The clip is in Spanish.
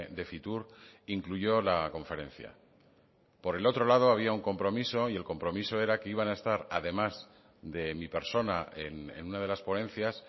de fitur incluyó la conferencia por el otro lado había un compromiso y el compromiso era que iban a estar además de mi persona en una de las ponencias